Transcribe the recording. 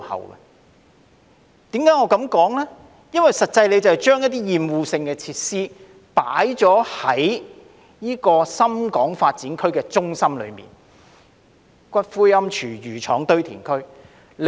我這樣說是因為政府將一些厭惡性設施設在深港發展區的中心位置，例如骨灰龕、廚餘廠、堆填區等。